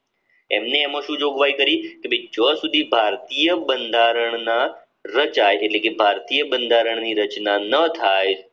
એમને એમાં શું જોગવાઈ કરી કે જો સુધી ભારતીય બંધારણના રચાય એટલે કે ભારતીય બંધારણની રચના ન થાય